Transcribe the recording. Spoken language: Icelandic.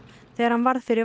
þegar hann varð fyrir